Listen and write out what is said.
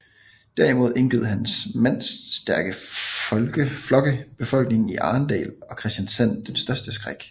Derimod indgød hans mandstærke flokke befolkningen i Arendal og Kristiansand den største skræk